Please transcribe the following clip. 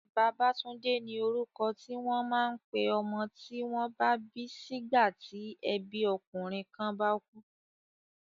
Babatunde ni orúkọ ti wọ́n máa ń pé ọmọ tí wọ́n bá bí sígbà tí ẹbí ọkùnrin kan bá kú.